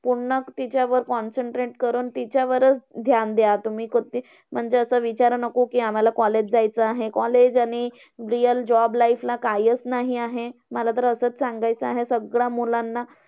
पूर्ण तिच्यावर concentrate करून तिच्यावरचं ध्यान द्या. तुम्ही कधी म्हणजे असं विचार नको, आम्हांला college जायचं आहे. college आणि real job life ला कायचं नाही आहे. मला तर असंच सांगायचं आहे सगळ्या मुलांना.